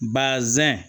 Bazɛn